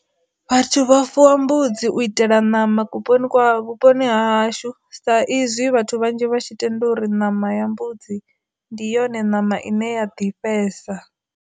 Vhathu vha fuwa mbudzi u itela ṋama ku poni kwa vhuponi hashu sa izwi vhathu vhanzhi vha tshi tenda uri ṋama ya mbudzi ndi yone ṋama ine ya ḓifhesa.